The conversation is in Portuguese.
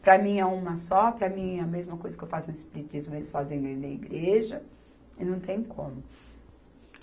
Para mim é uma só, para mim a mesma coisa que eu faço no Espiritismo, eles fazem dentro da igreja, e não tem como.